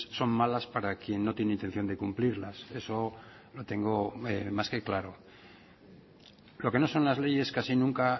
son malas para quien no tiene intención de cumplirlas eso lo tengo más que claro lo que no son las leyes casi nunca